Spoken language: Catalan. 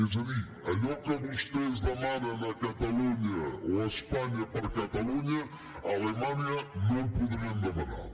és a dir allò que vostès demanen a catalunya o a espanya per a catalunya a alemanya no ho podrien demanar